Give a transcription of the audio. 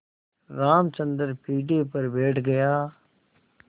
रामचंद्र पीढ़े पर बैठ गया